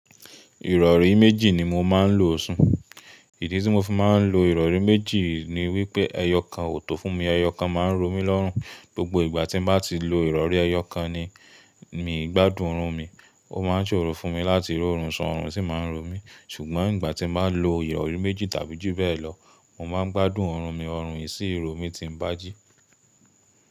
Ìrọ̀rí méjì ni mo máa ń lo sùn. Ìdí tí mo fi máa ń lo ìrọ̀rí méjì ni wípé ẹyọ kan ò tó fún mi. Ẹyọ kan máa ń ro mí lọ́rùn. Gbogbo ìgbà tí mo bá ti lo ìrọ̀rí ẹyọ kan ni mi gbádùn oorun mi. Ó máa ń ṣòro fún mi láti rọ̀rùn ṣun oorun sì máa ń ro mi. Ṣùgbọ́n ìgbà tí mo bá lo ìrọ̀rí méjì tàbí ju bẹ́ẹ̀ lọ, mo máa ń gbádùn oorun mi, oorun esì ro mí tí ń bàjí.